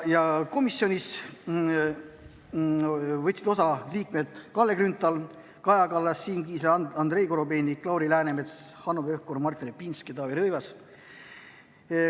Komisjonis olid kohal liikmed Kalle Grünthal, Kaja Kallas, Siim Kiisler, Andrei Korobeinik, Lauri Läänemets, Hanno Pevkur, Martin Repinski, Taavi Rõivas.